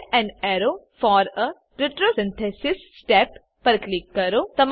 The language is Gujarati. add an arrow for a retrosynthesis step પર ક્લિક કરો